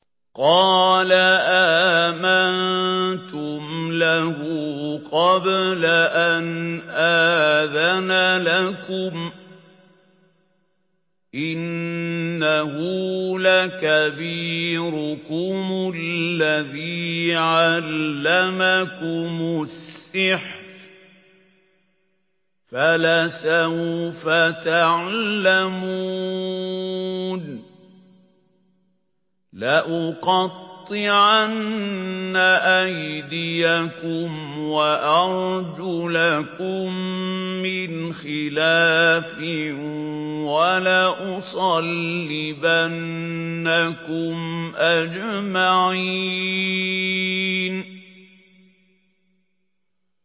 قَالَ آمَنتُمْ لَهُ قَبْلَ أَنْ آذَنَ لَكُمْ ۖ إِنَّهُ لَكَبِيرُكُمُ الَّذِي عَلَّمَكُمُ السِّحْرَ فَلَسَوْفَ تَعْلَمُونَ ۚ لَأُقَطِّعَنَّ أَيْدِيَكُمْ وَأَرْجُلَكُم مِّنْ خِلَافٍ وَلَأُصَلِّبَنَّكُمْ أَجْمَعِينَ